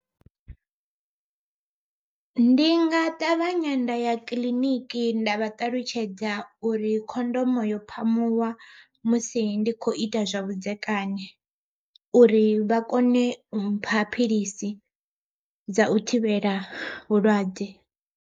Ndi nga ṱavhanya nda ya kiḽiniki nda vha ṱalutshedza uri khondomo yo phamuwa musi ndi kho ita zwa vhudzekani, uri vha kone u mpha philisi dza u thivhela vhulwadze.